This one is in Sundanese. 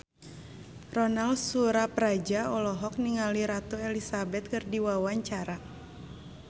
Ronal Surapradja olohok ningali Ratu Elizabeth keur diwawancara